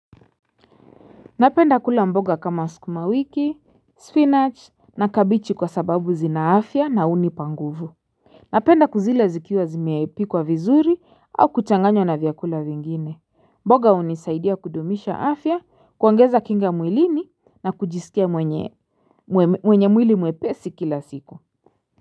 Napenda kula mboga kama sukuma wiki, spinach, na kabichi kwa sababu zinaafya na uni panguvu. Napenda kuzila zikiwa zimiipikwa vizuri au kuchanganyo na vyakula vingine. Mbogah unisaidia kudumisha afya, kuongeza kinga mwilini na kujisikia mwenye mwili mwepesi kila siku.